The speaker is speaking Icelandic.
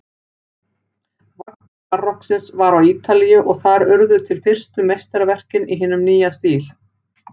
Vagga barokksins var á Ítalíu og þar urðu til fyrstu meistaraverkin í hinum nýja stíl.